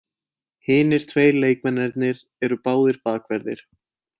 Hinir tveir leikmennirnir eru báðir bakverðir